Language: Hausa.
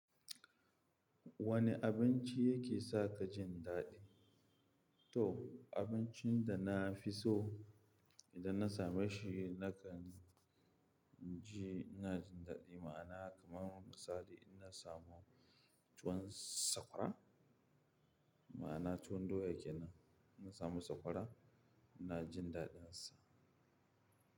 Wane abinci yake sa ka jin daɗi? To, abincin da na fi so idan na samu shi nakan ji ina jin daɗi ma'ana kamar misali idan na samu tuwon sakwara, ma'ana tuwon doya ke nan. Na samu sakwara ina jin daɗinsa.